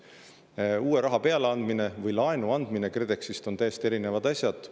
raha andmine ja laenu andmine KredExist on täiesti erinevad asjad.